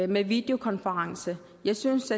med videokonferencer jeg synes